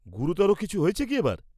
গুরুতর কিছু হয়েছে কি এবার?